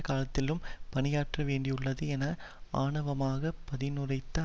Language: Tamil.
காலகட்டத்திலும் பணியாற்வேண்டியுள்ளது என ஆணவமாக பதிலுரைத்த